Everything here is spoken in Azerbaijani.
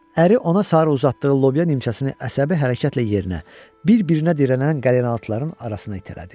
Əri ona sarı uzatdığı lobya nimçəsini əsəbi hərəkətlə yerinə bir-birinə dirənən qalınalıtlarının arasına itələdi.